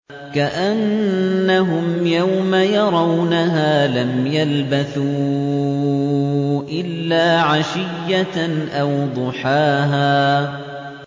كَأَنَّهُمْ يَوْمَ يَرَوْنَهَا لَمْ يَلْبَثُوا إِلَّا عَشِيَّةً أَوْ ضُحَاهَا